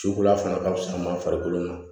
Ci kura fana ka fusa an ma farikolo ma